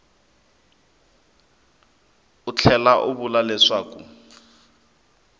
u tlhela u vula leswaku